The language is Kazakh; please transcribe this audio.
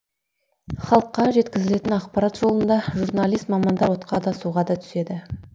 халыққа жеткізілетін ақпарат жолында журналист мамандар отқа да суға да түседі